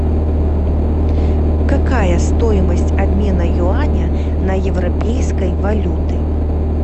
какая стоимость обмена юаня на европейской валюты